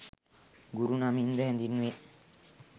ගුරු නමින්ද හැඳින්වේ.